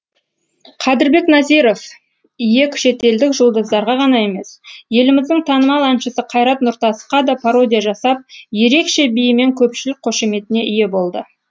қадірбек назиров ек шетелдік жұлдыздарға ғана емес еліміздің танымал әншісі қайрат нұртасқада пародия жасап ерекше биімен көпшілік қошеметіне ие болды